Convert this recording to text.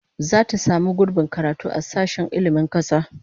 Zata samu gurbin karatu a sashen ilmin kasa